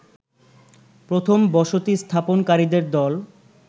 প্রথম বসতি স্থাপনকারীদের দল